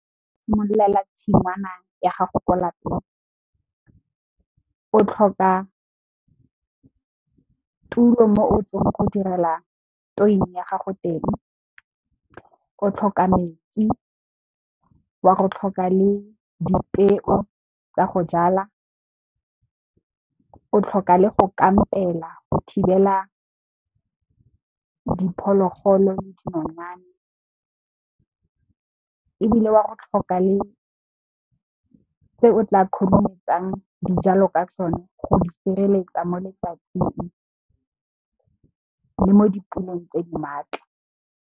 Go simolola tshingwana ya gago ko lapeng o tlhoka tulo mo o tla go direla tuin ya gago teng. O tlhoka metsi, wa go tlhoka le dipeo tsa go jala, o tlhoka le go kampela go thibela diphologolo le dinonyane ebile, wa go tlhoka le se o tla khurumetsang dijalo ka sone go di sireletsa mo letsatsing le mo dipuleng tse di maatla.